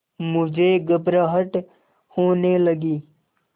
मुझे घबराहट होने लगी